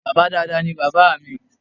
Bàbá dáadáa ní bàbá mi